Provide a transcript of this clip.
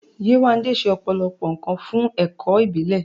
Yewande ṣe ọ̀pọ̀lọpọ̀ nkan fún ẹ̀kọ́ ìbílẹ̀.